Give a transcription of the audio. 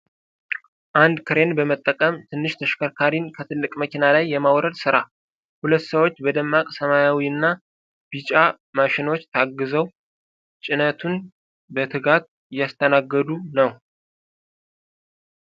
አንድ ክሬን በመጠቀም ትንሽ ተሽከርካሪን ከትልቅ መኪና ላይ የማውረድ ሥራ። ሁለት ሰዎች በደማቅ ሰማያዊና ቢጫ ማሽኖች ታግዘው ጭነቱን በትጋት እያስተናገዱ ነው።